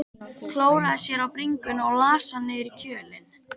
Klóraði sér á bringunni og las hann niður í kjölinn.